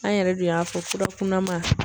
An yɛrɛ de y'a fɔ furakunma.